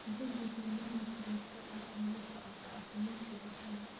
Deji barnaamij joogto ah oo la socodka caafimaadka digaagga.